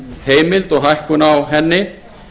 endurlánaheimild og hækkun á henni